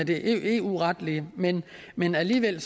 det eu retlige men men alligevel